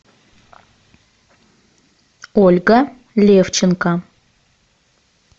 ольга левченко